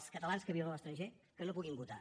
els catalans que viuen a l’estranger que no puguin votar